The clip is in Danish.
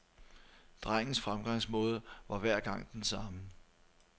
Drengens fremgangsmåde var hver gang den samme.